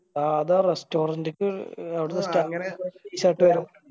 ആ അത് ആ restaurant ക്ക് അവിടുത്തെ